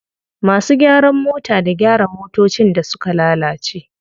Masu gyaran mota da gyara motocin da suka lalace.